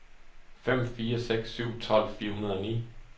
fem fire seks syv tolv fire hundrede og ni